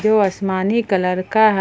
जो आसमानी कलर का है।